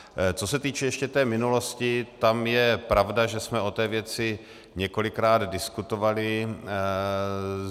Co se týče ještě té minulosti, tam je pravda, že jsme o té věci několikrát diskutovali.